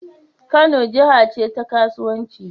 Kano jaha ce ta kasuwanci